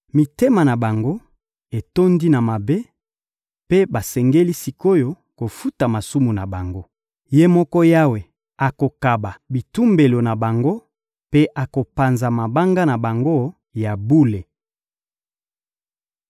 Mitema na bango etondi na mabe mpe basengeli sik’oyo kofuta masumu na bango. Ye moko Yawe akokaba bitumbelo na bango mpe akopanza mabanga na bango ya bule.